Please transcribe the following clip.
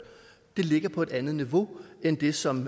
ligger på et andet niveau end det som